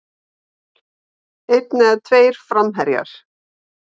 Einn eða tveir framherjar?